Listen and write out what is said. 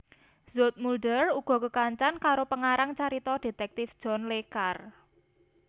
Zoetmulder uga kekancan karo pengarang carita dhétèktif John Le Carré